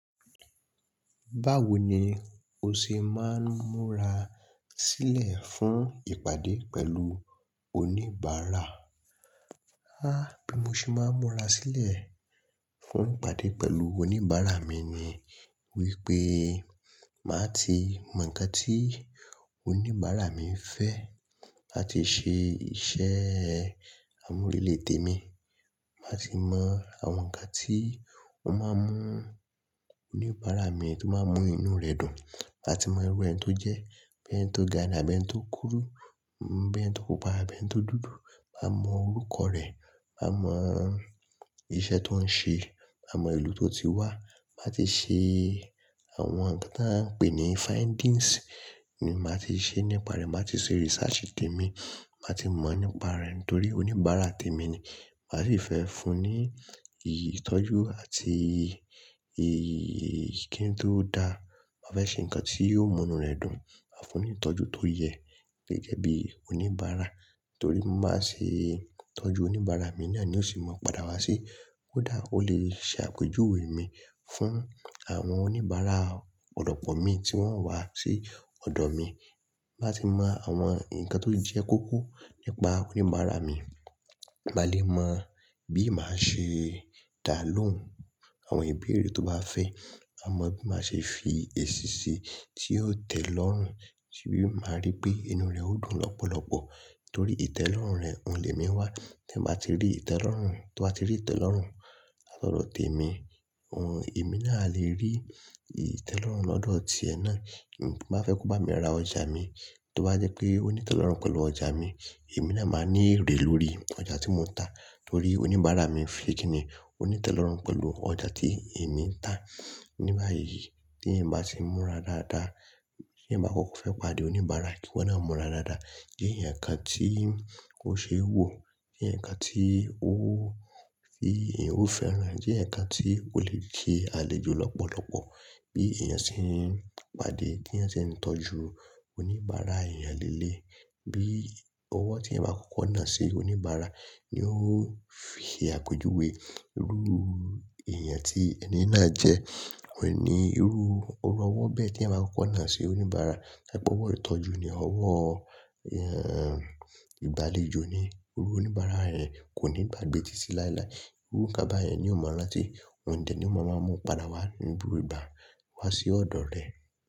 Báwo ni o ṣe máa ń múra sílẹ̀ fún ìpàdé pẹ̀lú oníbàárà? Háà, bí mo ṣe máa ń múra sílẹ̀ fún ìpàdé pẹ̀lú oníbàárà mi ni wípé màá ti mọ ǹkan tí oníbàárà mi ń fẹ́, màá ti ṣe iṣẹ́ àmúrelé tèmi, màá ti mọ àwọn ǹkan tí ó máa ń mú oníbàárà mi tó máa ń mú inú rẹ̀ dùn, màá ti mọ irú ẹni tó jẹ́, boya ẹni tó ga ni àbí ẹni tó kúrú, boya ẹni tó pupa àbí ẹni tó dúdú, màá mọ orúkọ rẹ̀, màá mọ iṣẹ́ tó ń ṣe, màá mọ ìlú tó ti wá. Màá ti ṣe àwọn ǹkan tí a ń pè ní findings ni màá ti ṣe nípa rẹ̀, màá ti ṣe research tèmi, màá ti mọ̀ nípa rẹ̀ nítorí oníbàárà tèmi ni. Màá sì fẹ́ fún un ní ìtọ́jú àti ìkín tó dáa. Màá fẹ́ ṣe ǹkan tí yóò mú inú rẹ̀ dùn. Màá fún un ní ìtọ́jú tó yẹ gẹ́gẹ́ bí oníbàárà nítorí mo máa ń ṣe ìtọ́jú oníbàárà mi náà ni ó sì mọ pada wá sí. Ko dà, ó lè ṣe àpéjuwé mi fún àwọn oníbàárà ọ̀pọ̀lopọ̀ mi tí wọ́n ń wá sí ọ̀dọ̀ mi. Bàá ti mọ àwọn ǹkan tó jẹ́ kókó nípa oníbàárà mi. Màá lè mọ bí màá ṣe dá lóhùn àwọn ìbéèrè tó bá fẹ́, à mọ bí màá ṣe fi èsí sí tí yóò tẹ́ ẹ lọ́rùn sí bí màá rí pé inú rẹ̀ ó dùn lọ́pọ̀lọpọ̀ nítorí ìtẹ́ lọ́rùn rẹ̀, òun lè mí wá. Tí ẹ bá ti rí ìtẹ́ lọ́rùn, tí wọ́n bá ti rí ìtẹ́ lọ́rùn láti ọ̀dọ̀ tèmi, òun, èmi náà lè rí ìtẹ́ lọ́rùn lọ́dọ̀ tí ẹ náà. Bí mo bá fẹ́ kó bá mi ra ọjà mi, tí ó bá jẹ́ pé ó ní ìtẹ́ lọ́rùn pẹ̀lú ọjà mi, èmi náà máa ní èrè lórí ọjà tí mo ń tà nítorí oníbàárà mi ń fẹ́ kí ni ó ní ìtẹ́ lọ́rùn pẹ̀lú ọjà tí èmi ń tà. Ní báyìí tí ẹ̀eyan bá ti ń múra dáadáa, tí ẹ̀eyan bá kọ́kọ́ fẹ́ pàdé oníbàárà kíwọ́n náà múra dáadáa, je ẹ̀eyan ǹkan tí ó ṣe wò, je ẹ̀eyan ǹkan tí ó fi-- ó fẹ́ràn, je ẹ̀eyan ǹkan tí ó lè kí a lè jó lọ́pọ̀lọpọ̀. Bí èèyàn ṣe ń pàdé, bí èèyàn ṣe ń tọ́jú oníbàárà èèyàn léléyi, bí ọwọ́ tí ẹeyan bá kọ́kọ́ nà sí oníbàárà ni ó fi se àpéjuwé irú èèyàn tí ẹni náà jẹ́. Kò ní irú ọwọ́ bẹ́ẹ̀ tí ẹeyan bá kọ́kọ́ nà sí oníbàárà. Ṣẹ́gbọ́n ọwọ́ ìtọ́jú ni, ọwọ́ ìgbàlejò ni. Irú oníbàárà yen kò ní gbagbe tí tí láéláé. Irú ǹkan báyẹn ni ó máa rántí, òǹdẹ̀ ni ó máa mọ pada wá ní gbogbo ìgbà wá sí ọ̀dọ̀ rẹ̀.